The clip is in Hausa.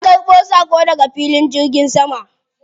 Na ƙarbo saƙo daga filin jirgin sama.